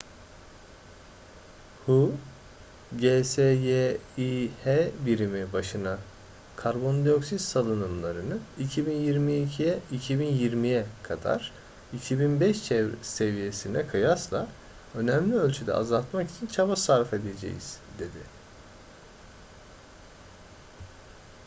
hu gsyi̇h birimi başına karbondioksit salınımlarını 2020'ye kadar 2005 seviyesine kıyasla önemli ölçüde azaltmak için çaba sarfedeceğiz, dedi